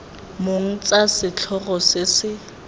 mong tsa setlhogo se se